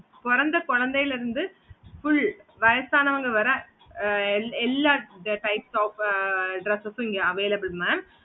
பொறந்த குழந்தை லந்து full வயசானவங்க வர ஆஹ் எல்லா types of dress இங்க available mam